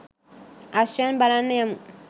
අශ්වයන් බලන්න යමු.